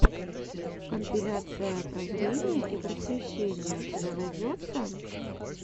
компиляция прозрения и просвещения у тебя найдется